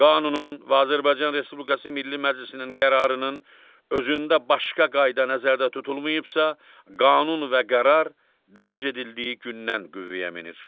Qanunun və Azərbaycan Respublikası Milli Məclisinin qərarının özündə başqa qayda nəzərdə tutulmayıbsa, qanun və qərar dərc edildiyi gündən qüvvəyə minir.